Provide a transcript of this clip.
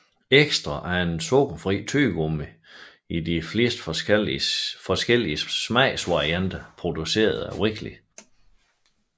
Extra er et sukkerfrit tyggegummi i flere forskellige smagsvarianter produceret af Wrigley